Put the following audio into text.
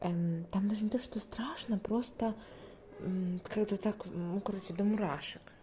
там даже не то что страшно просто как-то так короче до мурашек